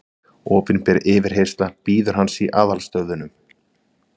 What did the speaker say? Opinber yfirheyrsla bíður hans í aðalstöðvunum.